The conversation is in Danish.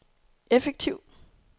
effektiv